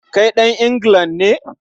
Kai ɗan Anglican ne?